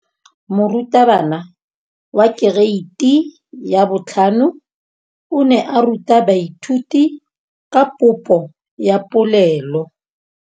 Moratabana wa kereiti ya 5 o ne a ruta baithuti ka popô ya polelô.